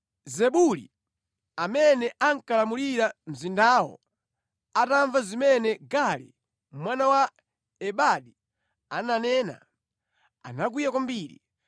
Zebuli amene ankalamulira mzindawo atamva zimene Gaali mwana wa Ebadi ananena, anakwiya kwambiri.